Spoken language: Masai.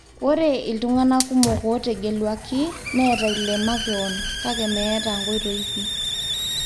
Ore iltungana kumok otegeluaki neeta ile makeon -kake meeta nkoitoi pii.